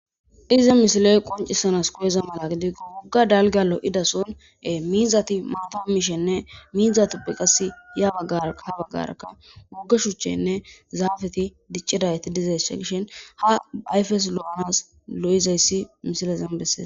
Iza misiley qoncisanas koyeza mala gidigo wogga dalgalo'idasonee miizati maatam miishenne miizatoppe qas ya agarha baggaraka wogge shuchchenne zaafeti diccidayti dizaysshe gishin ha ayfes lo'anas lo'izayssi misilezen bessee.